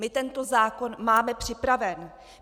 My tento zákon máme připraven.